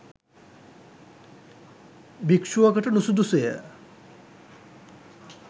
භික්‍ෂුවකට නුසුදුසු ය.